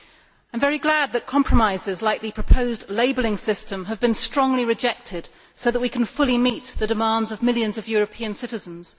I am very glad that compromises, like the proposed labelling system, have been strongly rejected, so that we can fully meet the demands of millions of European citizens.